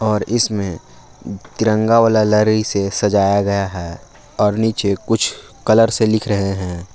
और इसमें तिरंगा वाला लरी से सजाया गया है और नीचे कुछ कलर से लिख रहे हैं।